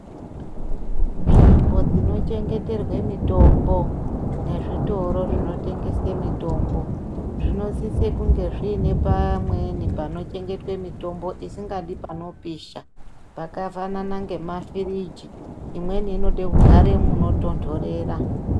Nzvimbo dzinochengeterwe mitombo nezvitoro zvinotengese mitombo zvinosise kunge zvine pamweni panochengetwe mitombo isingadi panoposha pakafanana ngemafiriji , imweni inode kugare munotondorera.